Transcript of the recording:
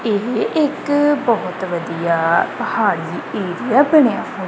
ਇਹ ਇੱਕ ਬਹੁਤ ਵਧੀਆ ਪਹਾੜੀ ਏਰੀਆ ਬਣਿਆ ਹੋਇਆ--